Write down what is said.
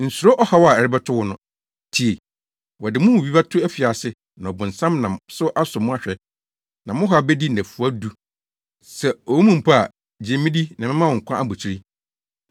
Nsuro ɔhaw a ɛrebɛto wo no. Tie! Wɔde mo mu bi bɛto afiase na ɔbonsam nam so asɔ mo ahwɛ. Na mo haw bedi nnafua du. Sɛ owu mu mpo a, gye me di na mɛma wo nkwa abotiri.